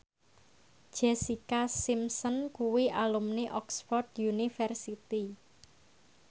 Jessica Simpson kuwi alumni Oxford university